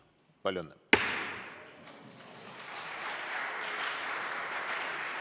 Palju õnne!